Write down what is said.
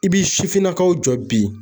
I bi sifinnakaw jɔ bi.